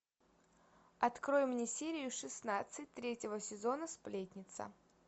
открой мне серию шестнадцать третьего сезона сплетница